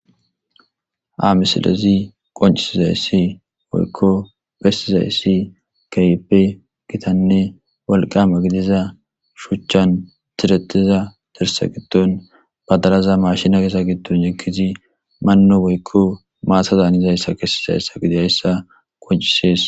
Amisilezi qoncisizayssi woykko bestizayssi kaype gitanne walqama gidiza shuchchan tirettiza derse giddon badaraza mashina kesa gidton yekizi manno woykko maasazan izayssa kessizayssa gide hayssa qoncisees.